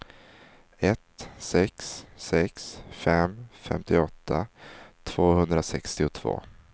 ett sex sex fem femtioåtta tvåhundrasextiotvå